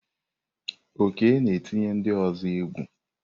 Oke na-etinye ndị ọzọ egwu.